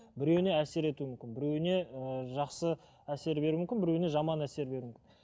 біреуіне әсер етуі мүмкін біреуіне ыыы жақсы әсер беруі мүмкін біреуіне жаман әсер беруі мүмкін